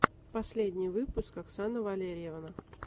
последний выпуск оксана валерьевна